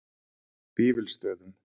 Vífilsstöðum